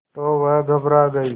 तो वह घबरा गई